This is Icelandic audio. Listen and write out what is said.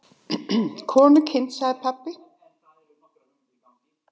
Konukindin, sagði pabbi.